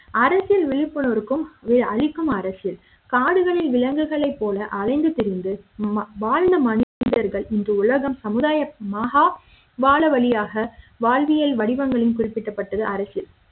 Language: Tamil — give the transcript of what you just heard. அரசியல் விழிப்புணர்வுக்கும் அளிக்கும் அரசியல் காடுகளில் விலங்குகளைப் போல அலைந்து திரிந்து வாழ்ந்த மனிதர்கள் இன்று உலகம் சமுதாயமுமகா வாழ வழியாக வாழ்வியல் வடிவங்களில் குறிப்பிடப்பட்டது அரசியல்